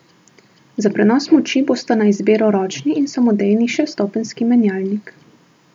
Za prenos moči bosta na izbiro ročni in samodejni šeststopenjski menjalnik.